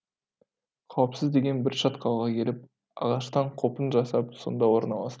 қауіпсіз деген бір шатқалға келіп ағаштан қопын жасап сонда орналастық